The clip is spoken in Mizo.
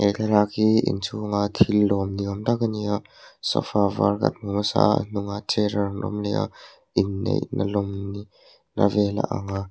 he thlalak hi inchhunga thil lawm ni awm tak a ni a sofa var kan hmu hmasa a hnungah chair a rawn awm leh a inneihna lawm ni na vel a ang a.